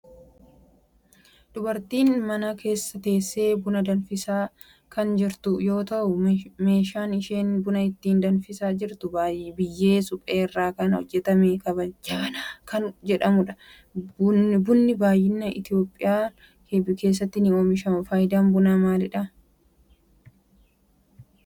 Dubartiin mana keessa teessee buna danfisa kan jirtu yoo ta'u meeshaan isheen buna ittin danfisaa jirtu biyyee suphee irraa kan hojjetame jabanaa kan jedhamudha. bunni bal'inaan biyya Itiyoophiyaa keessatti ni oomishama. faayidaan bunaa maalidha?